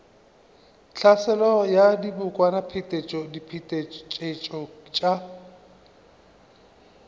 tlhaselo ya dibokwana diphetetšo tša